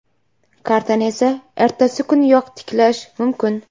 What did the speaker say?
Kartani esa ertasi kuniyoq tiklash mumkin.